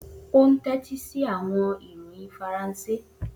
O n tẹtisi awọn iroyin Faranse.